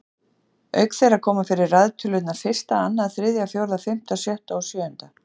Auk þeirra koma fyrir raðtölurnar fyrsta, annað, þriðja, fjórða, fimmta, sjötta og sjöunda.